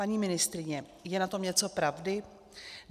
Paní ministryně, je na tom něco pravdy?